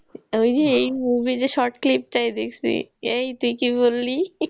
ওই যে এই movie তে short clip টাই দেখছি এই তুই কি বললি